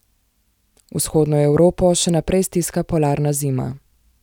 Vzhodno Evropo še naprej stiska polarna zima.